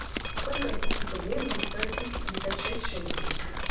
сколько российских рублей будет стоить триста пятьдесят шесть шекелей